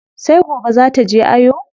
Sai gobe zaa taje ayo.